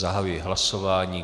Zahajuji hlasování.